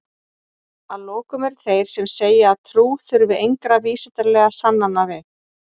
að lokum eru þeir sem segja að trú þurfi engra vísindalegra sannana við